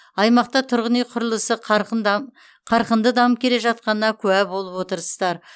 аймақта тұрғын үй құрылысы қарқынды дамып келе жатқанына куә болып отырсыздар